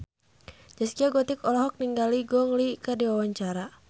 Zaskia Gotik olohok ningali Gong Li keur diwawancara